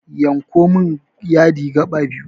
Yanko min yadi gaɓa biyu